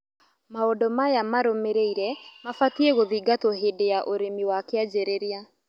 Maũndũ maya marũmĩrĩire mabatie gũthingatwo hĩndĩ ya ũrĩmi wa kĩanjĩrĩria